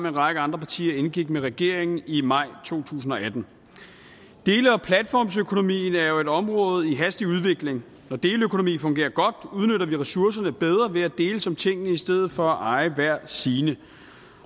en række andre partier indgik med regeringen i maj to tusind og atten dele og platformsøkonomien er jo et område i hastig udvikling når deleøkonomi fungerer godt udnytter vi ressourcerne bedre ved at deles om tingene i stedet for at eje hver sine